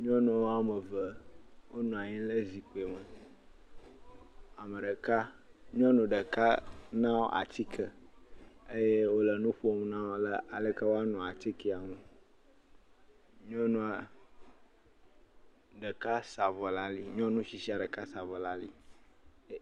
Nyɔnu woame ve. Wonɔ anyi lɛ zikpi ŋu. Ame ɖeka, nyɔnu ɖeka nɔɔ atsike eye wòle nu ƒo na wo ale yi ke woano atikea ŋu. Nyɔnua ɖeka sa avɔ le ali. Nyɔnu tsitsia ɖeka sa avɔ le ali.